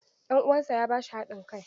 Ɗan uwansa ya ba shi hadin kai.